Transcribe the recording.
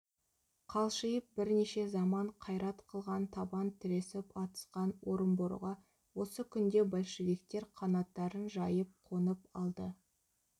қалшиып бірнеше заман қайрат қылған табан тіресіп атысқан орынборға осы күнде большевиктер қанаттарын жайып қонып алды